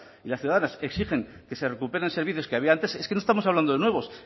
y las ciudadanas exigen que se recuperen servicios que había antes es que no estamos hablando de nuevos